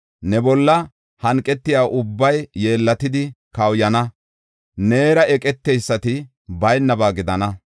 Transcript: Ne bolla hanqetiya ubbay yeellatidi kawuyana; neera eqeteysati baynaba gidana.